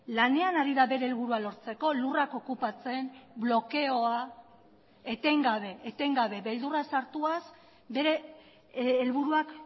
lanean ari da bere helburua lortzeko lurrak okupatzen blokeoa etengabe etengabe beldurra sartuaz bere helburuak